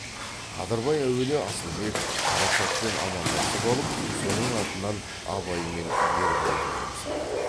қадырбай әуелі асылбек қарашашпен амандасып алып соның артынан абай мен ербол жайын сұрады